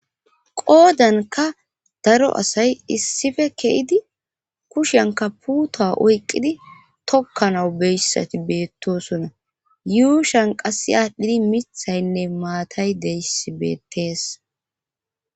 Qoodanka daro asay issife ke7idi kushanka puuto oyqqidi tokkanawu beyssati beettosona yuushan qassi aadhdhidi mithaynne maatay deyssi beettees.